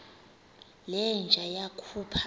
le nja yakhupha